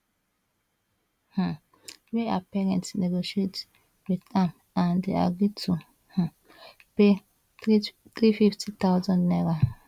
um wey her parents negotiate wit am and dem agree to um pay 350000 naira